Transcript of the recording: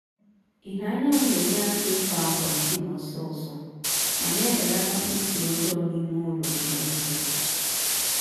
ìhè anyanwụ na-enye aka ịkọ akwa ndina ọsọọsọ ma na-ebelatakwa ísì ọjọọ n'ime ụlọ ụmụ anụmaanụ